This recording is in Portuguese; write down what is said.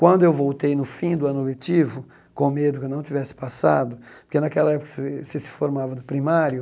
Quando eu voltei no fim do ano letivo, com medo que eu não tivesse passado, porque naquela época você você se formava do primário,